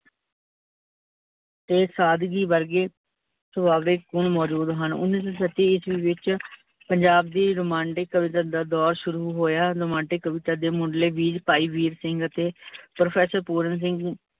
ਤੇ ਸਾਦਗੀ ਵਰਗੇ, ਸੁਭਾਬੀਕ ਗੁਣ ਮੋਜੂਦ ਹਨ। ਉਨਿ ਸੋ ਛੱਤੀ ਈਸਵੀ ਵਿੱਚ ਪੰਜਾਬ ਦੀ ਰੁਮਾਂਡੀਕ ਕਵਿਤਾ ਦਾ ਦੋਰ ਸ਼ੁਰੂ ਹੋਇਆ, ਰੁਮਾਡੀਕ ਕਵਿਤਾ ਦੇ ਮੁੰਡਲੇ ਬੀਜ ਭਾਈ ਵੀਰ ਸਿੰਘ ਅਤੇ professor ਪੂਰਨ ਸਿੰਘ